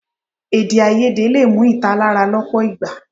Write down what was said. Èdèáiyedé lè mú ìtàlára lọ́pọ̀ ìgbà.